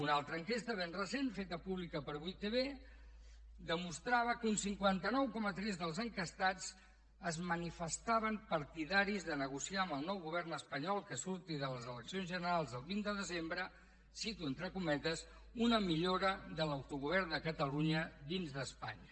una altra enquesta ben recent feta pública per 8tv demostrava que un cinquanta nou coma tres dels enquestats es manifestaven partidaris de negociar amb el nou govern espanyol que surti de les eleccions generals del vint de desembre cito entre cometes una millora de l’autogovern de catalunya dins d’espanya